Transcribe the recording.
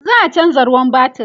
za'a chanza ruwan batir